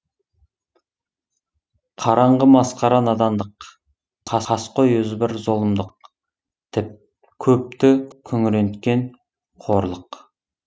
қараңғы масқара надандық қаскөй озбыр зұлымдық көпті күңіренткен қорлық